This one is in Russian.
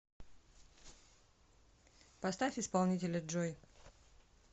поставь исполнителя джой